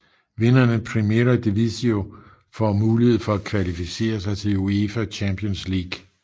Vinderen af Primera Divisió får muligheden til at kvalificere sig til UEFA Champions League